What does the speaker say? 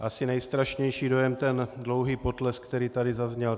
Asi nejstrašnější dojem ten dlouhý potlesk, který tady zazněl.